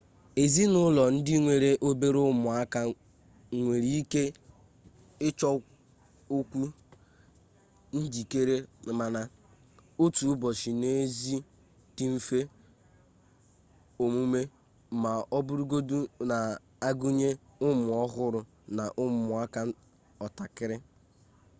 ezinụlọ ndị nwere obere ụmụaka nwere ike ịchọkwu njikere mana otu ụbọchị n'ezi dị mfe omume ma ọ bụrụgodu n'agụnye ụmụ ọhụrụ na ụmụaka ọtakara